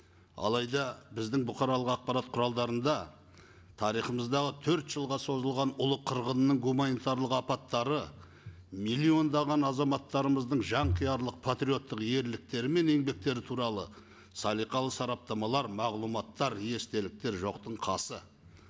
алайда біздің бұқаралық ақпарат құралдарында тарихымыздағы төрт жылға созылған ұлы қырғынның гуманитарлық апаттары миллиондаған азаматтарымыздың жанқиярлық патриоттық ерліктері мен еңбектері туралы салиқалы сараптамалар мағлұматтар естеліктер жоқтың қасы